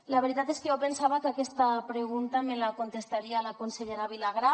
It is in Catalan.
la veritat és que jo pensava que aquesta pregunta me la contestaria la consellera vilagrà